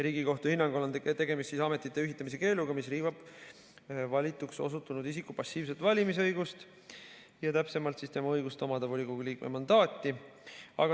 Riigikohtu hinnangul on tegemist ametite ühitamise keeluga, mis riivab valituks osutunud isiku passiivset valimisõigust, täpsemalt tema õigust omada volikogu liikme mandaati.